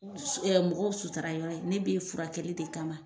Mɔgɔw sutara yɔrɔ ye ne b'e furakɛli de kama.